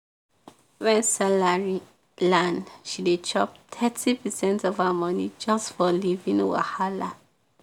when salary land she dey chop thirty percent of her money just for living wahala.